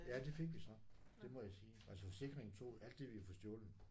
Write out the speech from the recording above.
Ja det fik vi så det må jeg sige. Altså forsikringen tog alt det vi havde fået stjålet